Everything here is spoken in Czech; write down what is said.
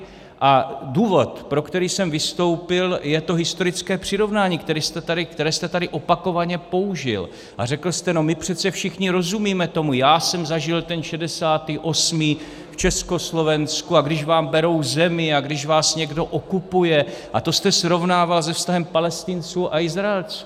A důvod, pro který jsem vystoupil, je to historické přirovnání, které jste tady opakovaně použil, a řekl jste: no my přece všichni rozumíme tomu, já jsem zažil ten 68. v Československu, a když vám berou zemi a když vás někdo okupuje - a to jste srovnával se vztahem Palestinců a Izraelců.